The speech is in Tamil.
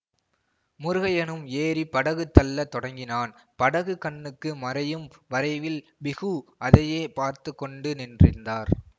முருகய்யனும் ஏறி படகு தள்ளத் தொடங்கினான் படகு கண்ணுக்கு மறையும் வரைவில் பிஹு அதையே பார்த்து கொண்டு நின்றிருந்தார்